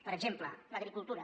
per exemple l’agricultura